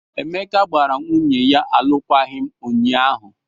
Emeka gbara nwunye ya alụkwaghị m ụnyaahụ.